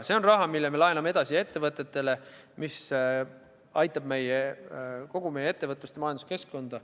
See on raha, mille me laename edasi ettevõtetele ning mis aitab kogu meie ettevõtlust ja majanduskeskkonda.